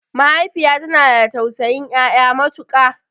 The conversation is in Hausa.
Mahaifiya tana da tausayin ƴaƴa matuƙa